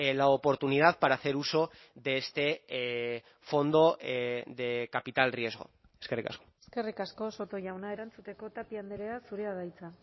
la oportunidad para hacer uso de este fondo de capital riesgo eskerrik asko eskerrik asko soto jauna erantzuteko tapia andrea zurea da hitza